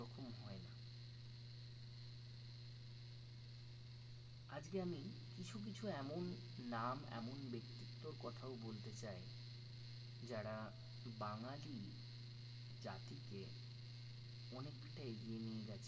আজকে আমি কিছু কিছু এমন নাম এমন ব্যক্তিত্বর কথাও বলতে চাই যারা বাঙালি জাতিকে অনেকটা এগিয়ে নিয়ে গেছেন